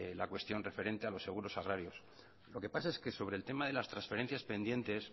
la cuestión referente a los seguros agrarios lo que pasa es que sobre el tema de las transferencias pendientes